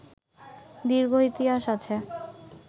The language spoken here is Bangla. দীর্ঘ ইতিহাস আছে